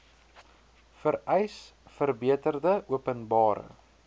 vereis verbeterde openbare